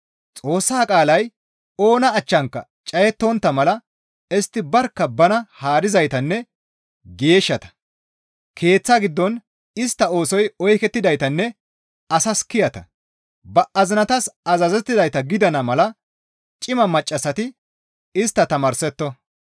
Xoossa qaalay oona achchanka cayettontta mala istti barkka bana haarizaytanne geeshshata, keeththa giddon istta oosoy oykkidaytanne asas kiyata, ba azinatas azazettizayta gidana mala cima maccassati istta tamaarsetto.